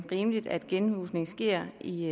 rimeligt at genhusning sker i